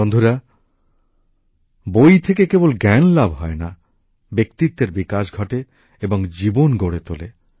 বন্ধুরা বই থেকে কেবল জ্ঞান লাভ হয়না ব্যক্তিত্বের বিকাশ ঘটে এবং জীবন গড়ে তোলে